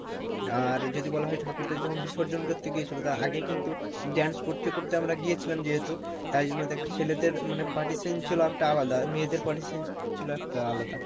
আর যদি বলা হয় ঠাকুর টা যখন বিসর্জন করতে গিয়েছিলো তার আগে কিন্তু dance করতে করতে আমরা গিয়েছিলাম যেহেতু তাই জন্য দেখ ছেলেদের মানে partition ছিলো একটা আলাদা মেয়েদের partition ছিলো একটা আলাদা